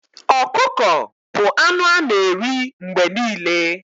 Ọkụkọ bu anụ ana eri mgbe niile